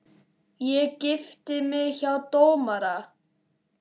Ég gifti mig hjá dómara.